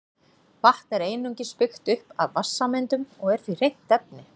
Vatn er einungis byggt upp af vatnssameindum og er því hreint efni.